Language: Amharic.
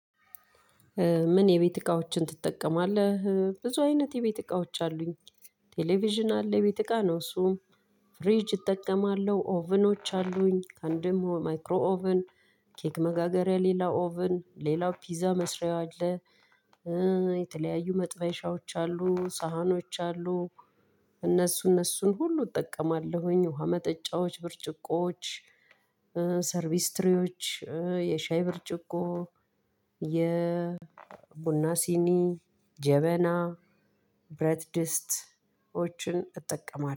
ምን የቤት እቃዎችን ትጠቀማለህ? ብዙ አይነት የ ቤት እቃዎች አሉኝ። ቴሌቪዥን አለ የ ቤት እቃ ነው እሱ። ፍሪጅ እጠቀማለሁ ኦቭኖች አሉኝ አንድም ማይክሮ ኦቭን። ኬክ መጋገሪያ ሌላ ኦቭን ሌላ ፒዛ መስሪያ አለ። የተለያዩ መጥበሻዎች አሉ ሳህኖች አሉ። እነሱ እነሱን ሁሉ እጠቀማለሁኝ ውሃ መጠጫዎች ብርጭቆዎች። ሰርቪስ ትሪዎች እ የሻይ ብርጭቆ። የ ቡና ሲኒ ጀበና ብረት ድስቶችን እጠቀማለሁ